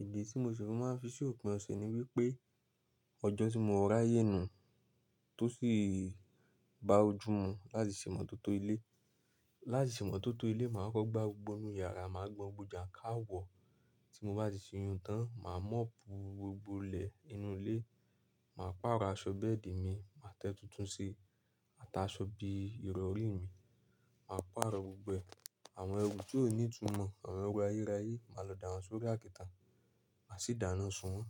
Ìdí tí mo ṣe máa ń fi sí òpin ọ̀sẹ̀ ni wípé ọjọ́ tí mo ra ayé nù tó sì bá ojú mu láti ṣe ìmọ̀tótó ilé. Láti ṣe ìmọ̀tótó ilé, màá kọ́kọ́ gbá gbogbo inú yàrá, màá gbọn gbogbo ján káwọ. Tí mo bá ti ṣe iyùn tán, màá mọ́ọ̀pù gbogbo ilẹ̀ inú ilé, màá pàrọ̀ aṣọ bẹ́ẹ̀dì mi, màá tẹ́ tuntun sí i àtà aṣọ bí i ìrọ̀rí mi. Màá pàrọ̀ gbogbo ẹ àwọn ẹrù tí ó ní ìtumọ̀, àwọn ẹrù ayérayé, màá lọ dà wọ́n sórí àkìtàn, màá sì dáná sun wọ́n.